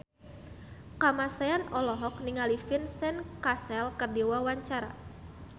Kamasean olohok ningali Vincent Cassel keur diwawancara